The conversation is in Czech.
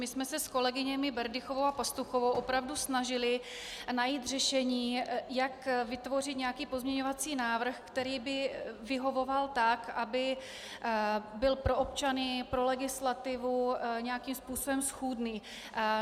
My jsme se s kolegyněmi Berdychovou a Pastuchovou opravdu snažily najít řešení, jak vytvořit nějaký pozměňovací návrh, který by vyhovoval tak, aby byl pro občany, pro legislativu nějakým způsobem schůdný.